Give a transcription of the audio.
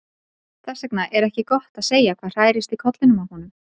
Þess vegna er ekki gott að segja hvað hrærist í kollinum á honum.